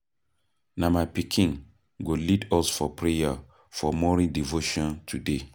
Na my pikin go lead us for prayer for morning devotion today.